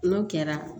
N'o kɛra